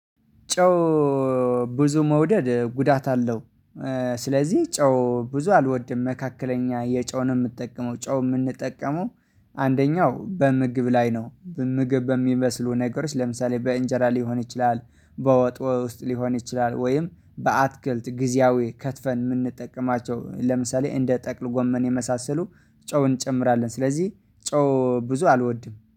ጨው ብዙ መውደድ ጉዳት አለው። ስለዚህ ጨው ብዙ አልወድም መካከለኛ የጨው ነው የምጠቀመው ጨው የምንጠቀመው። አንደኛው በምግብ ላይ ነው በምግብ በሚመስሉ ነገሮች ለምሳሌ በእንጀራ ሊሆን ይችላል። በወጥ ውስጥ ሊሆን ይችላል ወይም በአትክልት ጊዜያዊ ከትፈን የምንጠቀማቸው ለምሳሌ እንደ ጠቅል ጎመን የመሳሰሉ ጨው እንጨምራለን ስለዚህ ጨው ብዙ አልወድም